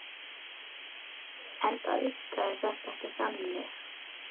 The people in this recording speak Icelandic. Enda virkaði þetta ekki þannig.